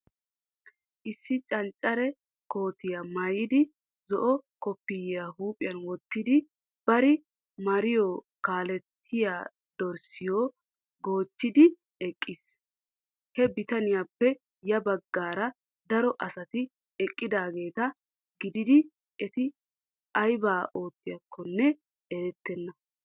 Issi canccare kootiya maayidi zo'o koppiyiya huuphiyan wottidi bari mariyo kaalettiya dorssiyo goochchidi eqqiis. Ha bitaniyappe ya baggaara daro asati eqqidaageeta gididi eti aybaa oottiyakkonne erettenna.